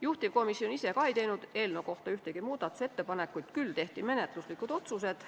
Juhtivkomisjon ise ei teinud eelnõu kohta ühtegi muudatusettepanekut, küll tehti menetluslikud otsused.